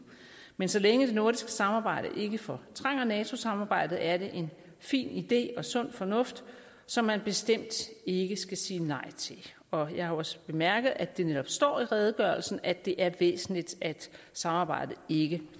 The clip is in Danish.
men så længe det nordiske samarbejde ikke fortrænger nato samarbejdet er det en fin idé og sund fornuft som man bestemt ikke skal sige nej til og jeg har også bemærket at det netop står i redegørelsen at det er væsentligt at samarbejdet ikke